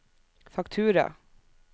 faktura